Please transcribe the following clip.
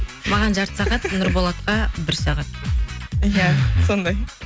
маған жарты сағат нұрболатқа бір сағат иә сондай